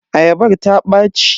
Ayabar ta ɓaci.